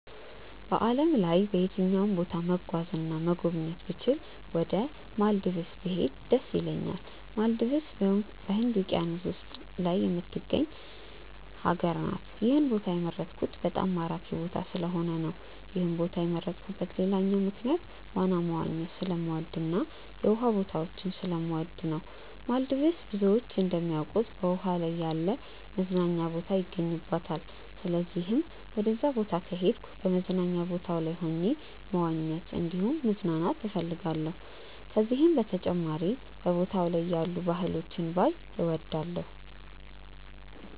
በዓለም ላይ በየትኛውም ቦታ መጓዝ እና መጎብኘት ብችል ወደ ማልዲቭስ ብሄድ ደስ ይለኛል። ማልዲቭስ በህንድ ውቂያኖስ ላይ የምትገኝ ሀገር ናት። ይህን ቦታ የመረጥኩት በጣም ማራኪ ቦታ ስለሆነ ነው። ይህን ቦታ የመረጥኩበት ሌላኛው ምክንያት ዋና መዋኘት ስለምወድ እና የውሃ ቦታዎችን ስለምወድ ነው። ማልዲቭስ ብዙዎች እንደሚያውቁት በውሃ ላይ ያለ መዝናኛ ቦታ ይገኝባታል። ስለዚህም ወደዛ ቦታ ከሄድኩ በመዝናኛ ቦታው ላይ ሆኜ መዋኘት እንዲሁም መዝናናት እፈልጋለሁ። ከዚህም በተጨማሪ በቦታው ላይ ያሉ ባህሎችን ባይ እወዳለሁ።